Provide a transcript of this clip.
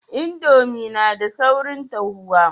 Indomie na da saurin dahuwa